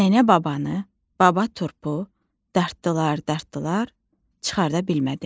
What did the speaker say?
Nənə babanı, baba turpu dartdılar, dartdılar, çıxarda bilmədilər.